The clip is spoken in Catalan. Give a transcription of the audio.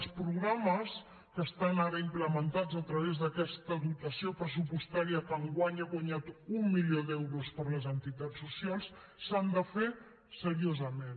els programes que estan ara implementats a través d’aquesta dotació pressupostària que enguany ha guanyat un milió d’euros per a les entitats socials s’han de fer seriosament